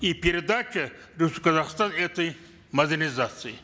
и передача в казахстан этой модернизации